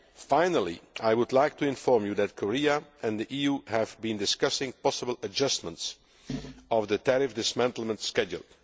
Finally, I would like to inform you that Korea and the EU have been discussing possible adjustments to the tariff dismantlement schedule.